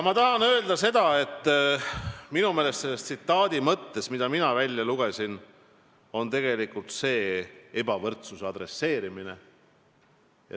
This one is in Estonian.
Mina lugesin sellest tsitaadist välja, et tuleb midagi ette võtta ebavõrdsusega.